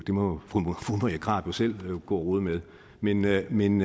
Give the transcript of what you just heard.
må fru marie krarup jo selv gå og rode med men med men